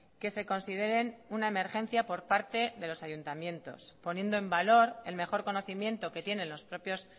que se consideren una emergencia por parte de los ayuntamientos poniendo en valor el mejor conocimiento que tienen los propios